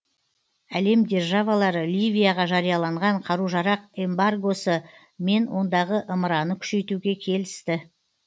әлем державалары ливияға жарияланған қару жарақ эмбаргосы мен ондағы ымыраны күшейтуге келісті